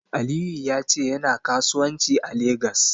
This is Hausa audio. Aliyu ya ce yana kasuwanci a Legas.